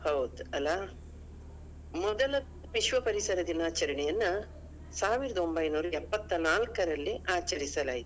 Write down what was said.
ಹೌದು ಅಲ್ಲಾ? ಮೊದಲ ವಿಶ್ವ ಪರಿಸರ ದಿನಾಚರಣೆಯನ್ನಾ ಸಾವಿರದ ಒಂಬೈನೂರ ಎಪ್ಪತ್ನಾಲ್ಕರಲ್ಲಿ ಆಚರಿಸಲಾಯಿತು.